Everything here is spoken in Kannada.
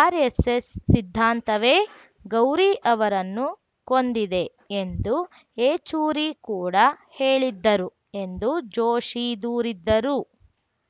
ಆರ್‌ಎಸ್‌ಎಸ್‌ ಸಿದ್ಧಾಂತವೇ ಗೌರಿ ಅವರನ್ನು ಕೊಂದಿದೆ ಎಂದು ಯೆಚೂರಿ ಕೂಡ ಹೇಳಿದ್ದರು ಎಂದು ಜೋಶಿ ದೂರಿದ್ದರು